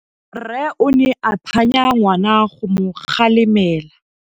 Rre o ne a phanya ngwana go mo galemela.